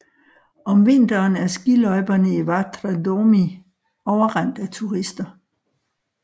Om vinteren er skiløjperne i Vatra Dornei overrendt af turister